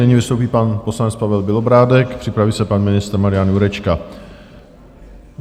Nyní vystoupí pan poslanec Pavel Bělobrádek, připraví se pan ministr Marian Jurečka.